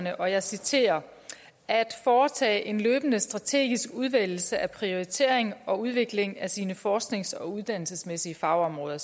at og jeg citerer foretage en løbende strategisk udvælgelse prioritering og udvikling af sine forsknings og uddannelsesmæssige fagområder